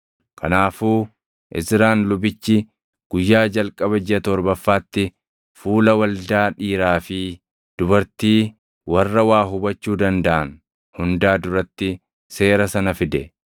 Kanaafuu Izraan lubichi guyyaa jalqaba jiʼa torbaffaatti fuula waldaa dhiiraa fi dubartii warra waa hubachuu dandaʼan hundaa duratti Seera sana fide.